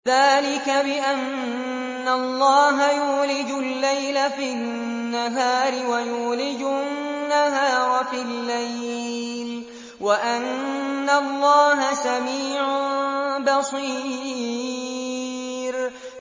ذَٰلِكَ بِأَنَّ اللَّهَ يُولِجُ اللَّيْلَ فِي النَّهَارِ وَيُولِجُ النَّهَارَ فِي اللَّيْلِ وَأَنَّ اللَّهَ سَمِيعٌ بَصِيرٌ